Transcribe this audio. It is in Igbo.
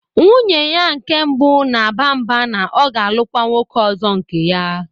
Nwunye ya nke mbụ na-aba mba na ọ ga-alụkwa nwoke ọzọ nke ya.